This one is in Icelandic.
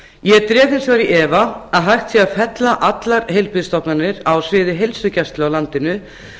ég dreg hins vegar í efa að hægt sé að fella allar heilbrigðisstofnanir á sviði heilsugæslu á landinu